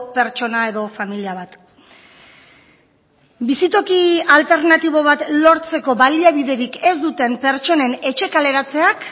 pertsona edo familia bat bizitoki alternatibo bat lortzeko baliabiderik ez duten pertsonen etxe kaleratzeak